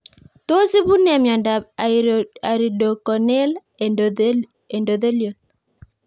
Tos ipu nee miondop iridocorneal endothelial